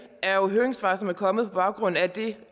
er høringssvar som er kommet på baggrund af det